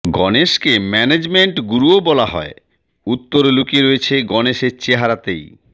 গণেশকে management গুরুও বলা হয় উত্তর লুকিয়ে রয়েছে গণেশের চেহারাতেই